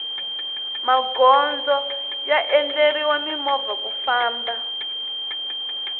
magondzo ya endleriwe mimovha ku famna